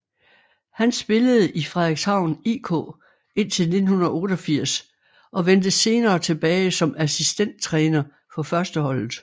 Han spillede i Frederikshavn IK indtil 1988 og vendte senere tilbage som assistenttræner for førsteholdet